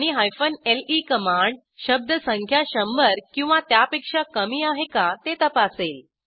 आणि ले कमांड शब्दसंख्या शंभर किंवा त्यापेक्षा कमी आहे का ते तपासेल